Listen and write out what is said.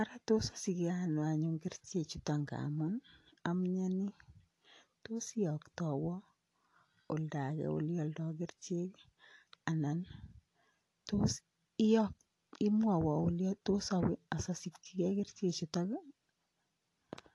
Ara tos asichen ano anyun kerichek chuton ngamun amnyani tos iyoktawonoldagee olealdo kerichekanan tos imwawon ele tosawe asasikyi kerichek chuton ii